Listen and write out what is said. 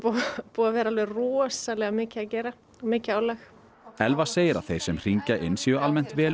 búið að vera alveg rosalega mikið að gera og mikið álag Elva segir að þeir sem hringja inn séu almennt vel